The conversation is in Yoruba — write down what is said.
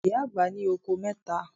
Ìyá àgbà ní okòó mẹ́ta.